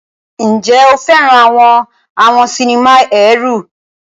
Ǹjẹ́ o fẹ́ràn àwọn àwọn sinimá ẹ̀rù?